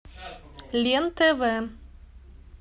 лен тв